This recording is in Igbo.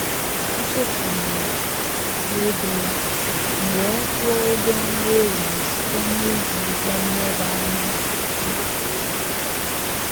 Ọ chefuru akpa ego ya, m wee kwụọ ụgwọ nri ehihie site na iji ihe nleba anya mmefu ego anyị.